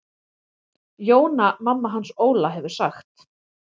Jóna mamma hans Óla hefur sagt.